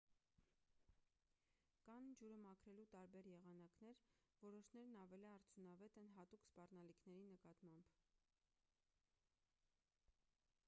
կան ջուրը մաքրելու տարբեր եղանակներ որոշներն ավելի արդյունավետ են հատուկ սպառնալիքների նկատմամբ